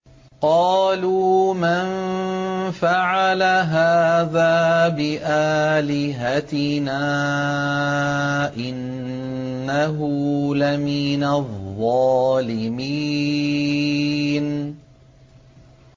قَالُوا مَن فَعَلَ هَٰذَا بِآلِهَتِنَا إِنَّهُ لَمِنَ الظَّالِمِينَ